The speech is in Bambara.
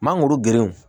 Mangoro gerenw